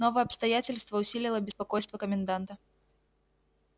новое обстоятельство усилило беспокойство коменданта